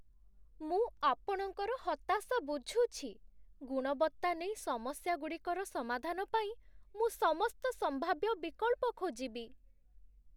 ମୁଁ ଆପଣଙ୍କର ହତାଶା ବୁଝୁଛି, ଗୁଣବତ୍ତା ନେଇ ସମସ୍ୟାଗୁଡ଼ିକର ସମାଧାନ ପାଇଁ ମୁଁ ସମସ୍ତ ସମ୍ଭାବ୍ୟ ବିକଳ୍ପ ଖୋଜିବି।